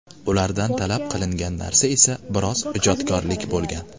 Ulardan talab qilingan narsa esa biroz ijodkorlik bo‘lgan.